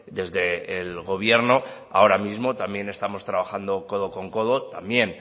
desde el gobierno ahora mismo también estamos trabajando codo con codo también